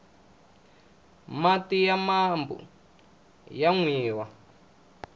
mati ya mambu aya nwiwa